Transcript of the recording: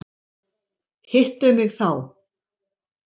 Hittu mig þá.